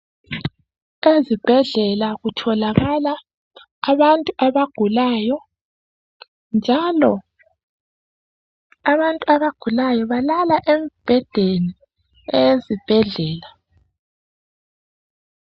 Ezibhedlela kutholakala abantu abagulayo, njalo abantu abagulayo balala embhedeni eyezibhedlela.